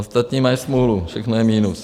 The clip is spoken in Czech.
Ostatní mají smůlu, všechno je minus.